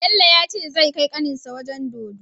Bello yace zai kai kanin shi wajan dodo